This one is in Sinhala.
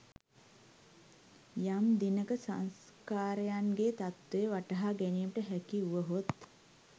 යම් දිනක සංස්කාරයන්ගේ තත්ත්වය වටහා ගැනීමට හැකි වුවහොත්